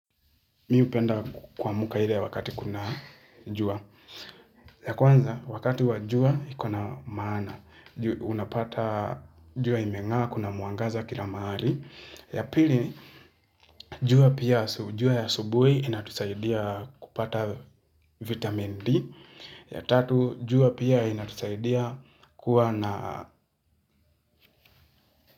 Mi hupenda kuamka ile wakati kuna jua. Ya kwanza wakati wa jua iko na maana. Unapata jua imeng'aa kuna mwangaza kila mahali. Ya pili jua pia ya jua ya asubuhi inatusaidia kupata vitamin D. Ya tatu jua pia inatusaidia kuwa na.